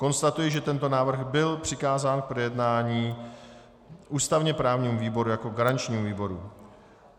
Konstatuji, že tento návrh byl přikázán k projednání ústavně právnímu výboru jako garančnímu výboru.